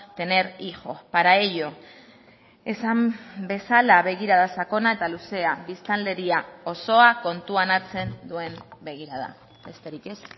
tener hijos para ello esan bezala begirada sakona eta luzea biztanleria osoa kontuan hartzen duen begirada besterik ez